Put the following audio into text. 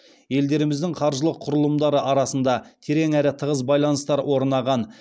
елдеріміздің қаржылық құрылымдары арасында терең әрі тығыз байланыстар орнаған